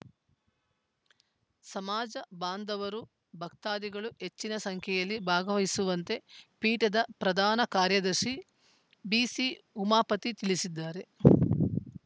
ಸಮಾಜ ಬಾಂಧವರು ಭಕ್ತಾದಿಗಳು ಹೆಚ್ಚಿನ ಸಂಖ್ಯೆಯಲ್ಲಿ ಭಾಗವಹಿಸುವಂತೆ ಪೀಠದ ಪ್ರಧಾನ ಕಾರ್ಯದರ್ಶಿ ಬಿಸಿಉಮಾಪತಿ ತಿಳಿಸಿದ್ದಾರೆ